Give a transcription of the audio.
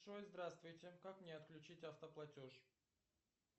джой здравствуйте как мне отключить автоплатеж